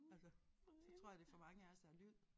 Altså så tror jeg det for mange også er lyd